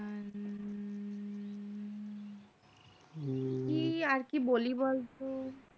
কি আর কি বলি বলতো